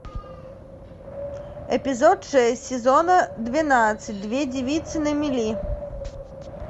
эпизод шесть сезона двенадцать две девицы на мели